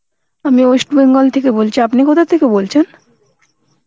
আমি West Bengal থেকে বলছি, আপনি কোথাথেকে বলছেন